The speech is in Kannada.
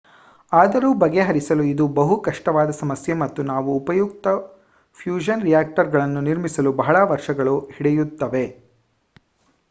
ಆದರೂ ಬಗೆಹರಿಸಲು ಇದು ಬಹು ಕಷ್ಟವಾದ ಸಮಸ್ಯೆ ಮತ್ತು ನಾವು ಉಪಯುಕ್ತ ಫ್ಯೂಷನ್ ರಿಯಾಕ್ಟರ್ಗಳನ್ನು ನಿರ್ಮಿಸಲು ಬಹಳ ವರ್ಷಗಳು ಹಿಡಿಯುತ್ತವೆ